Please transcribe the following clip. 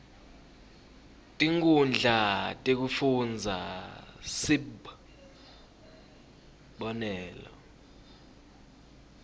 tinkhundla tekufundza sib